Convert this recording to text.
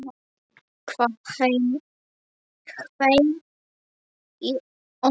Það hvein í ömmu.